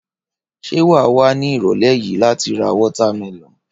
Ṣé wà wá ní ìrọ̀lẹ́ yìí láti ra watermelon?